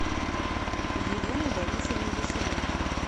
еленой борисовной василенко